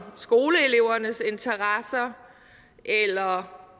skoleelevernes interesser eller